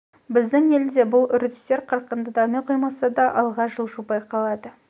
біздің елде де бұл үрдістер қарқынды дами қоймаса да алға жылжу байқалады